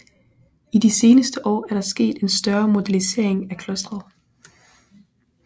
I de seneste år er der sket en større modernisering af klosteret